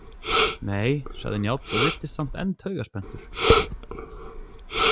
Nei, sagði Njáll og virtist samt enn taugaspenntur.